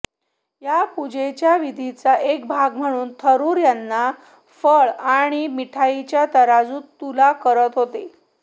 या पूजेच्या विधीचा एक भाग म्हणून थरुर यांना फळ आणि मिठाईंच्या तराजूत तुला करत होते